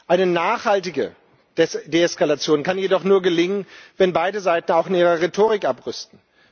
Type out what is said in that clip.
Eine nachhaltige Deeskalation kann jedoch nur gelingen, wenn beide Seiten auch in ihrer Rhetorik abrüsten.